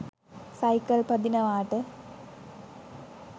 cycle පදිනවාට